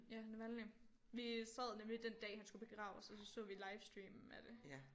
Ja Navalnyj vi sad nemlig den dag han skulle begraves og så så vi livestreamen af det